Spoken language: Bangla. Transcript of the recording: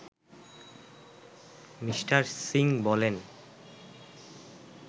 মি: সিং বলেন